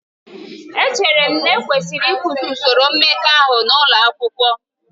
Echere m na ekwesịrị ịkụzi usoro mmekọahụ n'ụlọ akwụkwọ